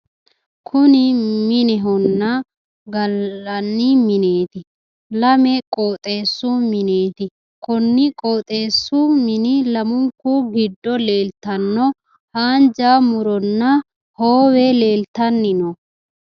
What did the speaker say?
Kuni minehonna gallanni mineeti. lame qooxeessu mineeti. konni qooxeessu mini lamunku giddo leeltanno haanja muronna hoowe leeltanni no.